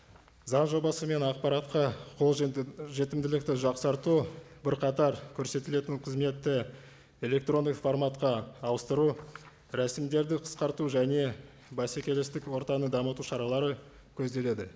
заң жобасы мен ақпаратқа қол жетімділікті жақсарту бірқатар көрсетілетін қызметті электрондық форматқа ауыстыру рәсімдерді қысқарту және бәсекелестік ортаны дамыту шаралары көзделеді